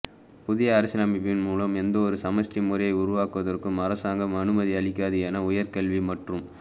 புதிய அரசியலமைப்பு மூலம் எந்தவொரு சமஷ்டி முறையை உருவாக்குவதற்கும் அரசாங்கம் அனுமதி அளிக்காது என உயர்கல்வி மற்றும்